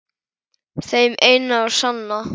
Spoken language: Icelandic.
Þeim eina og sanna?